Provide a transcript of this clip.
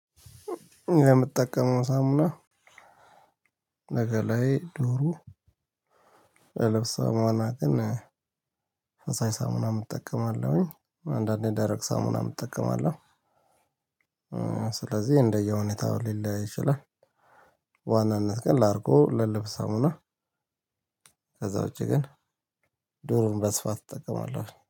የምጠቀመው ሳሙና ለ ገላዬ ዱሩ ለብስ ሳሙና ግን ፈሳሽ ሳሙና እጠቀማለሁኝ አንዳንዴ ደረቅ ሳሙና እጠቀማለሁ። ስለዚህ እንደየሁኔታው ሊለያይ ይችላል። በ ዋናነት ግን ላርጎ ለልብስ ሳሙና። ከዛ ውጪ ግን ዱሩን በስፋት እጠቀማለሁ